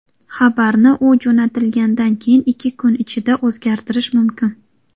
Xabarni, u jo‘natilgandan keyingi ikki kun ichida o‘zgartirish mumkin.